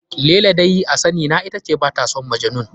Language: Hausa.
Laila dai a sani na ita ce ba ta son Majnun.